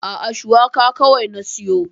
A'a, Shuwaka kawai na siyo.